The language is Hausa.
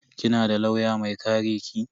Kina da lauya mai kare ki?